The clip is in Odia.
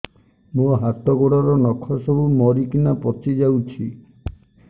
ମୋ ହାତ ଗୋଡର ନଖ ସବୁ ମରିକିନା ପଚି ଯାଉଛି